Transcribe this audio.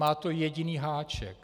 Má to jediný háček.